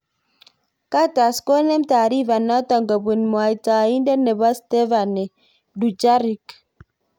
Guterres konem tarifa notok kobun mwataindet nebo Stephane Dujarric.